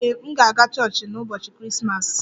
Ee, m ga-aga chọọchị n'ụbọchị Krismas